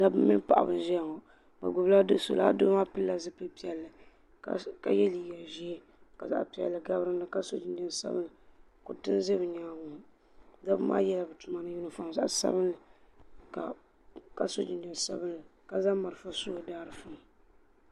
dabba mini paɣaba n ʒiya ŋɔ bi gbubila do so laa doo maa pilila zipili piɛlli ka yɛ liiga ʒiɛ ka zaɣ piɛlli gabi dinni ka so jinjɛm sabinli kuriti n ʒɛ bi nyaangi ŋɔ dabba maa yɛla bi tuma ni yunifom zaɣ sabinli ka so jinjɛm sabinli ka zaŋ marafa su bi daadiifu ni